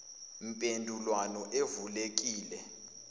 mpendulwano evule lekile